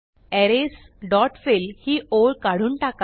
arrays dot fill ही ओळ काढून टाका